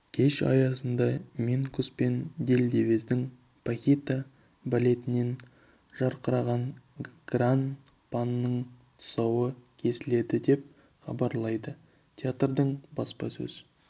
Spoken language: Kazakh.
кеш аясында минкус пен дельдевездің пахита балетінен жарқыраған гран-паның тұсауы кесіледі деп хабарлайды театрдың баспасөз